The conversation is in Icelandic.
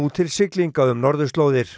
til siglinga um norðurslóðir